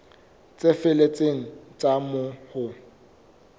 tse felletseng tsa moo ho